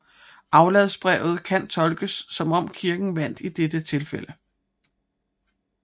Afladsbrevet kan tolkes som om Kirken vandt i dette tilfælde